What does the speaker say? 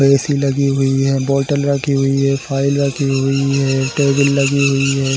AC लगी हुई है बॉटल रखी हुई है फाइल रखी हुई है टेबल लगी हुई है।